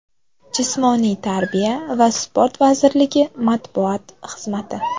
Jismoniy tarbiya va sport vazirligi matbuot xizmati.